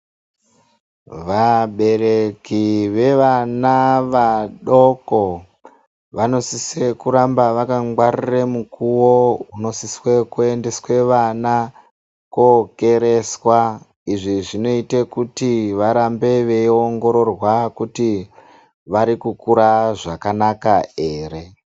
Vabereki vevana vadoko vanosise kuramba vaka ngwarire mukuwo unosiswe kuendeswe vana kookereswa, izvi zvinoite kuti varambe veiongororwa kuti vari kukura zvakanaka ere.